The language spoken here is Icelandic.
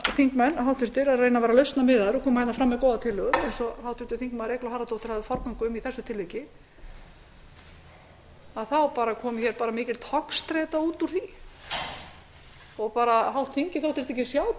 þingmenn reyna að vera lausnamiðaðir og koma fram með góða tillögu eins og háttvirtir þingmenn eygló harðardóttir hafði forgöngu um í þessu tilviki að út úr því komi mikil togstreita hálft þingið þóttist ekki sjá